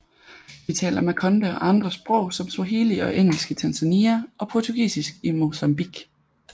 De taler makonde og andre sprog som swahili og engelsk i Tanzania og portugisisk i Mocambique